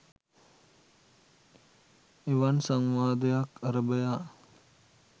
එවන් සංවාදයක් අරභයා